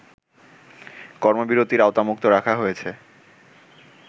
কর্মবিরতির আওতামুক্ত রাখা হয়েছে